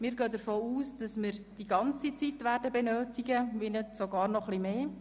Wir gehen davon aus, dass wir dafür die gesamte Zeit benötigen werden – wenn nicht sogar noch etwas mehr.